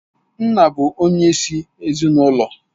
Nna bụ onyeisi ezinụlọ.